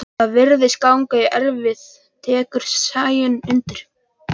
Þetta virðist ganga í erfðir, tekur Sæunn undir.